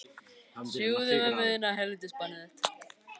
Því börn vaxa úr grasi og.